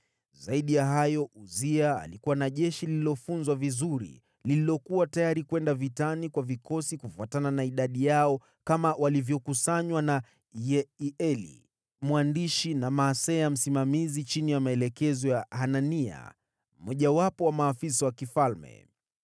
Zaidi ya hayo, Uzia alikuwa na jeshi lililofunzwa vizuri, lililokuwa tayari kwenda vitani kwa vikosi kufuatana na idadi yao kama walivyokusanywa na Yeieli mwandishi na Maaseya msimamizi chini ya maelekezo ya Hanania, mmojawapo wa maafisa wa mfalme.